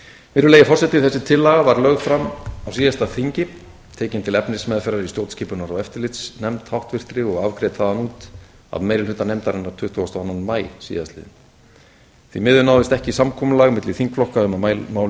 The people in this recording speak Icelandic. virðulegi forseti þessi tillaga var lögð fram á síðasta þingi tekin til efnismeðferðar í stjórnskipunar og eftirlitsnefnd háttvirtur og afgreidd þaðan út af meiri hluta nefndarinnar tuttugasta og annan maí síðastliðinn því miður náðist ekki samkomulag milli þingflokka um að málið